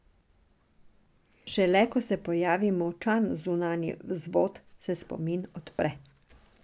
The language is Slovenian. Šele ko se pojavi močan zunanji vzvod, se spomin odpre.